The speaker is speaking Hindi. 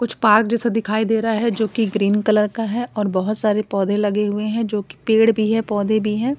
कुछ पार्क जैसा दिखाई दे रहा है जोकि ग्रीन कलर का है और बहोत सारे पौधे लगे हुए हैं जोकि पेड़ भी है पौधे भी हैं।